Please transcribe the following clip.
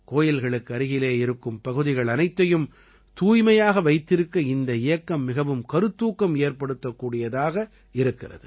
கோயில்களுக்கு அருகிலே இருக்கும் பகுதிகள் அனைத்தையும் தூய்மையாக வைத்திருக்க இந்த இயக்கம் மிகவும் கருத்தூக்கம் ஏற்படுத்தக்கூடியதாக இருக்கிறது